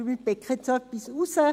Ich picke etwas heraus.